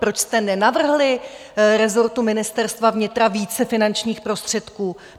Proč jste nenavrhli rezortu Ministerstva vnitra více finančních prostředků?